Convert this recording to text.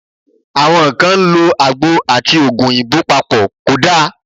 Àwọn kan ń lo àgbo àti Ògùn òyìnbó papọ̀, kò da.